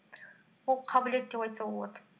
ол қабілет деп айтса болады